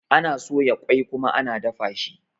Ana soya ƙoi kuma ana dafa shi.